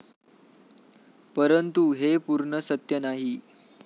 परंतु हे पूर्ण सत्य नाही.